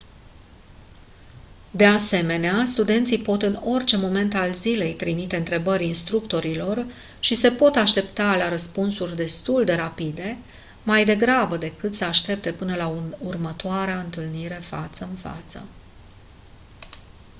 de asemenea studenții pot în orice moment al zilei trimite întrebări instructorilor și se pot aștepta la răspunsuri destul de rapide mai degrabă decât să aștepte până la următoarea întâlnire față în față